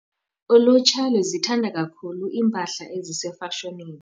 Ulutsha luzithanda kakhulu iimpahla ezisefashonini.